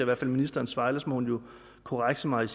hvert fald ministerens svar ellers må hun jo korrekse mig